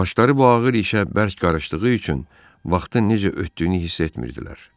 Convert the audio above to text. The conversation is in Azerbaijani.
Başları bu ağır işə bərk qarışdığı üçün vaxtın necə ötdüyünü hiss etmirdilər.